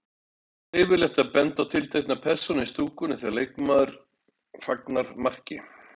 Er leyfilegt að benda á tiltekna persónu í stúkunni þegar leikmaður fagnar marki?